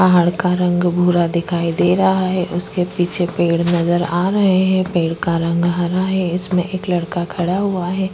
पहाड़ का रंग भूरा दिखाई दे रहा है उसके पीछे पेड़ नज़र आ रहा हैं पेड़ का रंग हरा है इसमें एक लड़का खड़ा हुआ है।